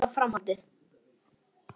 Þeir eru spenntir að sjá framhaldið.